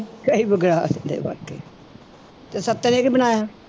ਕਈ ਵਿਗਾੜਦੇ ਵਾਕਈ ਤੇ ਸੱਤੇ ਨੇ ਕੀ ਬਣਾਇਆ।